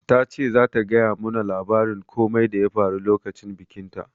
Ta ce zata gaya mu na labarin komai da ya faru lokacin bikin ta